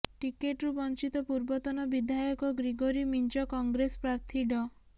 ଟିକେଟ୍ରୁ ବଞ୍ଚିତ ପୂର୍ବତନ ବିଧାୟକ ଗ୍ରିଗୋରୀ ମିଞ୍ଜ କଂଗ୍ରେସ ପ୍ରାର୍ଥୀ ଡ